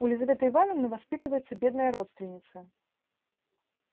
у лизаветы ивановны воспитывается бедная родственница